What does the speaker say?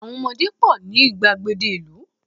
àwọn ọmọdé pọ ni igbagede ìlú